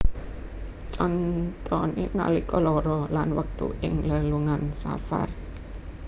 Contoné nalika lara lan wektu ing lelungan safar